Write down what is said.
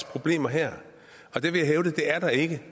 problemer her det vil jeg hævde at der ikke